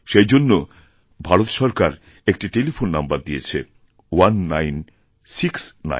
সেইজন্য ভারত সরকার একটি টেলিফোন নাম্বার দিয়েছে 1969